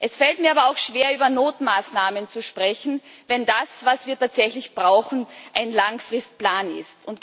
Es fällt mir aber auch schwer, über Notmaßnahmen zu sprechen, wenn das, was wir tatsächlich brauchen, ein Langfristplan ist.